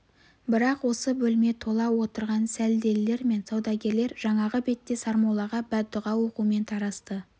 бірақ осы бөлме тола отырған сәлделілер мен саудагерлер жаңағы бетте сармоллаға бәддүға оқумен тарасты